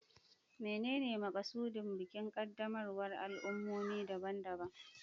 Menene makasudin bukin qaddamarwar al'ummomi daban-daban?